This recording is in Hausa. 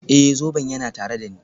Ee, zoben yana tare da ni.